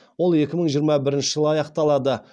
ол екі мңы жиырма бірінші жылы аяқталады